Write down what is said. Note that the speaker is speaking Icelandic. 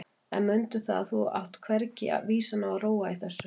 En mundu það að þú átt hvergi á vísan að róa í þessu.